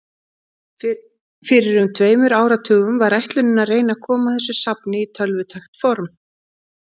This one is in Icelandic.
Fyrir um tveimur áratugum var ætlunin að reyna að koma þessu safni í tölvutækt form.